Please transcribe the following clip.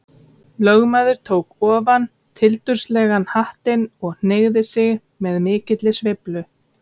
Lögmaður tók ofan tildurslegan hattinn og hneigði sig með mikilli sveiflu.